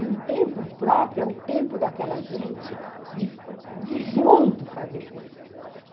E um tempo próprio é o tempo daquela gente de de, junto, fazer coisas.